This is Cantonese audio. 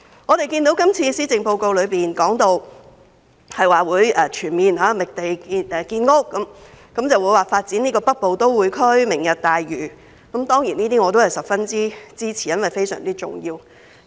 我們看到今次施政報告提到會全面覓地建屋，發展北部都會區、"明日大嶼"，我對此當然十分支持，亦認為十分重要。